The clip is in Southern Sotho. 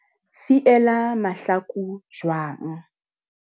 Fiela mahlaku jwanng.